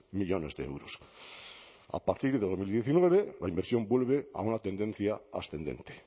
millónes de euros a partir de dos mil diecinueve la inversión vuelve a una tendencia ascendente